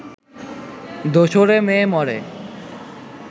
দোসরে মেয়ে মরে